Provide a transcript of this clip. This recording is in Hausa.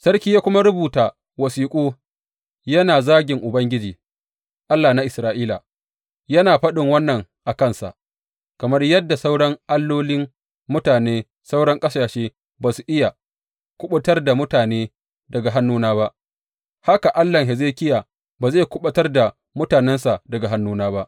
Sarki ya kuma rubuta wasiƙu yana zagin Ubangiji, Allah na Isra’ila, yana faɗin wannan a kansa, Kamar yadda sauran allolin mutanen sauran ƙasashe ba su iya kuɓutar da mutane daga hannuna ba, haka Allahn Hezekiya ba zai kuɓutar da mutanensa daga hannuna ba.